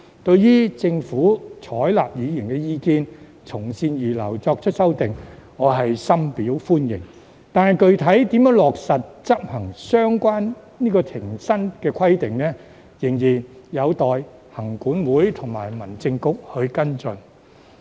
對於政府採納議員意見，從善如流，作出修訂，我是深表歡迎的，但具體如何落實執行相關停薪的規定，仍然有待行管會與民政局跟進。